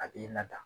A b'i lada